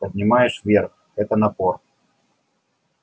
поднимаешь вверх это напор